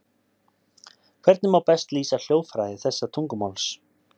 Hvernig má best lýsa hljóðfræði þessa tungumáls?